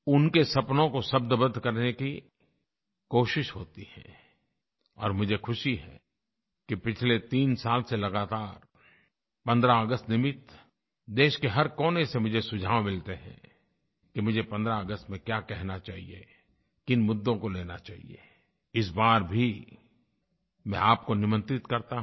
उनके सपनों को शब्दबद्ध करने की कोशिश होती है और मुझे ख़ुशी है कि पिछले 3 साल से लगातार 15 अगस्त निमित्त देश के हर कोने से मुझे सुझाव मिलते हैं कि मुझे 15 अगस्त पर क्या कहना चाहिए किन मुद्दों को लेना चाहिए इस बार भी मैं आपको निमंत्रित करता हूँ